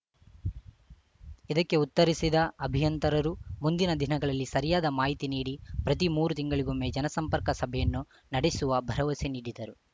ಇದಕ್ಕೆ ಉತ್ತರಿಸಿದ ಅಭಿಯಂತರರು ಮುಂದಿನ ದಿನಗಳಲ್ಲಿ ಸರಿಯಾದ ಮಾಹಿತಿ ನೀಡಿ ಪ್ರತಿ ಮೂರು ತಿಂಗಳಿಗೊಮ್ಮೆ ಜನಸಂಪರ್ಕ ಸಭೆಯನ್ನು ನಡೆಸುವ ಭರವಸೆ ನೀಡಿದರು